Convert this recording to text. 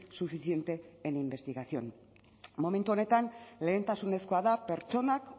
suficiente en investigación momentu honetan lehentasunezkoa da pertsonak